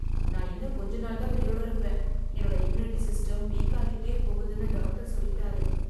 நான் இன்னும் கொஞ்ச நாள் தான் உயிரோட இருப்பேன், என்னோட இம்யூனிட்டி சிஸ்டம் வீக் ஆகிட்டே போகுதுன்னு டாக்டர் சொல்லிட்டாரு.